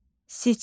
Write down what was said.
Siçan.